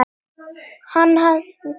Hann hafði mjúkar hendur.